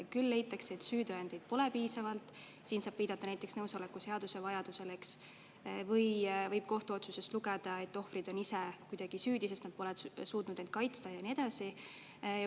Küll leitakse, et süütõendeid pole piisavalt – siin saab viidata näiteks nõusoleku seaduse vajadusele, eks – või võib kohtuotsusest lugeda, et ohvrid on ise kuidagi süüdi, sest nad pole suutnud end kaitsta ja nii edasi.